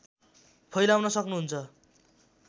फैलाउन सक्नुहुन्छ